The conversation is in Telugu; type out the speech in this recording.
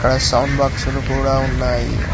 ఇంకా సౌండ్ బాక్సులు కూడ ఉన్నాయి.